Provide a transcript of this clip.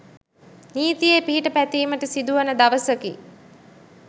නීතියේ පිහිට පැතීමට සිදුවන දවසකි